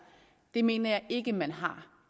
det mener jeg ikke at man har